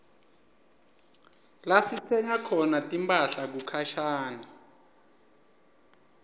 lasitsenga khona timphahla kukhashane